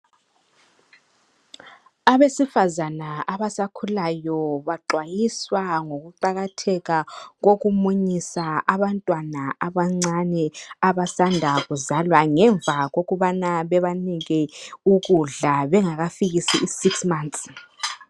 Abesifazana abasakhulayo baxwayiswa ngokuqakatheka kokumunyusa abantwana abancane abasanda kuzalwa ngemva kokubana bebanike ukudla bengakafikisi inyanga eziyisithupha.